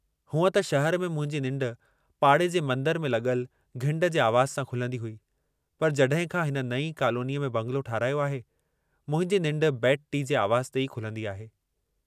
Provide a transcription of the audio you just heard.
हूंअ त शहर में मुंहिंजी निंड पाड़े जे मंदर में लॻल घिंड जे आवाज़ सां खुलंदी हुई, पर जॾहिं खां हिन नईं कॉलोनीअ में बंगलो ठहिरायो आहे, मुंहिंजी निंड बेड टी जे आवाज़ ते ई खुलंदी आहे।